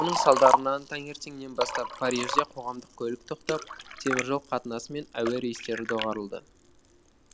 оның салдарынан таңертеңнен бастап парижде қоғамдық көлік тоқтап теміржол қатынасы мен әуе рейстері доғарылды